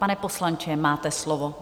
Pane poslanče, máte slovo.